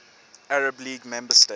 arab league member states